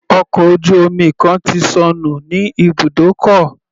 Ọkọ̀ ojú omi kan ti sọnù ní ibùdókọ̀.